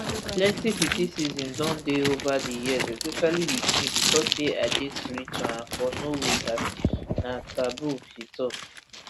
plenty criticism don dey ova di years especially wit me becos say i dey spiritual and for norway dat na taboo she tok